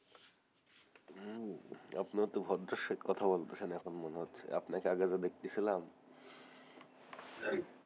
আপনি তো ভদ্রোষ্য কথা বলতেছেন এখন মনে হচ্ছে আপনাকে আগে যা দেখতে ছিলাম